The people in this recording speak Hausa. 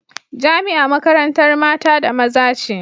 Jamia makarantar mata da maza ce